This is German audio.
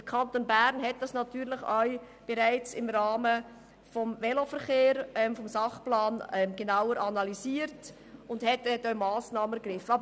Der Kanton Bern hat dies auch im Rahmen des Sachplans Veloverkehr bereits genauer analysiert und Massnahmen ergriffen.